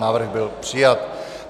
Návrh byl přijat.